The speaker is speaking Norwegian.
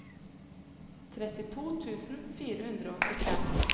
trettito tusen fire hundre og åttifem